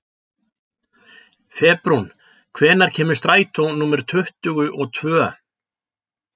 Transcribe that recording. Febrún, hvenær kemur strætó númer tuttugu og tvö?